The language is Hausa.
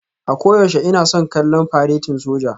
A koyaushe ina son kallon faretin soja